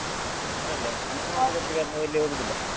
ಊರಲ್ಲೇ ಎಲ್ಲ ಒಟ್ಟಿಗೆ ಹೋಗುದಿಲ್ಲ.